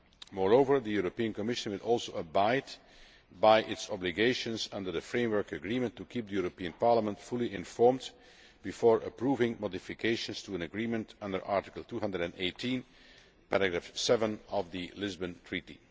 Moreover, the Commission will also abide by its obligations under the Framework Agreement to keep Parliament fully informed before approving modifications to an agreement under Article 218 of the Lisbon Treaty.